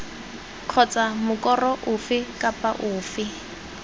kgotsa mokoro ofe kapa ofe